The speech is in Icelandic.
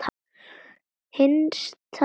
HINSTA KVEÐJA.